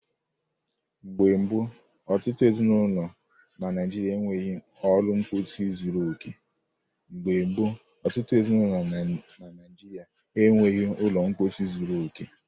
Mgbe gboo, ọtụtụ ezinụlọ na Naijiria e nweghị ụlọ mposi zuru okè.